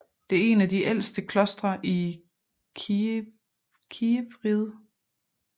Det er en af de ældste klostre i Kijevriget